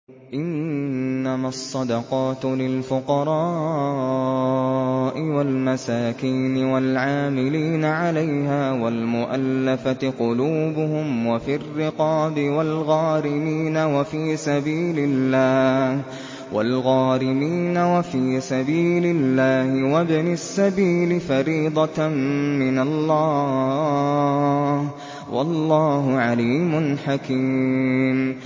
۞ إِنَّمَا الصَّدَقَاتُ لِلْفُقَرَاءِ وَالْمَسَاكِينِ وَالْعَامِلِينَ عَلَيْهَا وَالْمُؤَلَّفَةِ قُلُوبُهُمْ وَفِي الرِّقَابِ وَالْغَارِمِينَ وَفِي سَبِيلِ اللَّهِ وَابْنِ السَّبِيلِ ۖ فَرِيضَةً مِّنَ اللَّهِ ۗ وَاللَّهُ عَلِيمٌ حَكِيمٌ